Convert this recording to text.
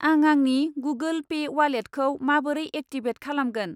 आं आंनि Google Pay वालेटखौ माबोरै एक्टिभेट खालामगोन?